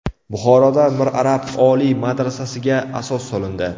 Buxoroda Mir Arab oliy madrasasiga asos solindi.